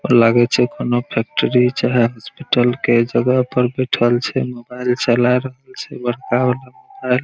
लागे छै कोनो फैक्ट्री चाहे हॉस्पिटल के जगह पर बइठल छै| मोबाइल चला रहल छै बड़का वाला मोबाइल --